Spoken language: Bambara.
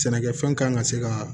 Sɛnɛkɛfɛn kan ka se ka